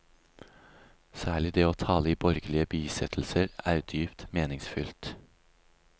Særlig det å tale i borgerlige bisettelser er dypt meningsfylt.